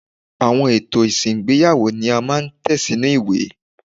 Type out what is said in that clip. Àwọn ètò ìsìn ìgbéyàwó ni a máa ń tẹ̀ sínú ìwé.